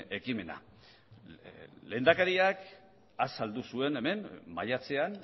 ekimena lehendakariak azaldu zuen hemen maiatzean